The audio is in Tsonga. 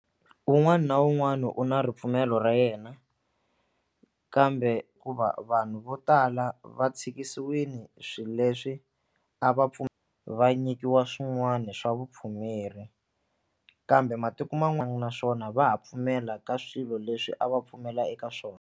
Un'wana na un'wana u na ripfumelo ra yena kambe ku va vanhu vo tala va tshikisiwile swilo leswi a va va nyikiwa swin'wana swa vupfumeri kambe matiko na swona va ha pfumela ka swilo leswi a va pfumela eka swona.